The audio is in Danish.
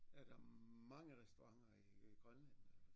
Er der mange restauranter i Grønland